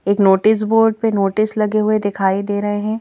एक notice board पे notice लगे हुए दिखाई दे रहे हैं।